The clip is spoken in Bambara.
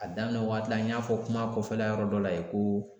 A daminɛ waati la n y'a fɔ kuma kɔfɛla yɔrɔ dɔ la yen ko